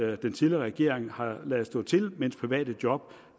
at den tidligere regering har ladet stå til mens private job